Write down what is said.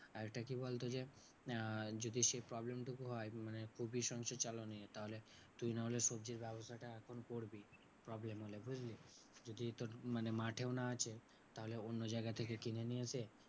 আরেকটা কি বলতো? যে আহ যদি সেই problem টুকু হয় মানে খুবই সংসার চালানো নিয়ে তাহলে তুই নাহলে সবজির ব্যাবসাটা এখন করবি problem হলে বুঝলি? যদি তোর মানে মাঠেও না আছে তাহলে অন্য জায়গা থেকে কিনে নিয়ে এসে